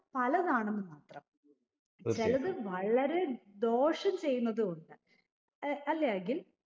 പലതാണെന്ന് മാത്രം ചിലത് വളരെ ദോഷം ചെയ്യുന്നതും ഉണ്ട് അഹ് അല്ലെ അഖിൽ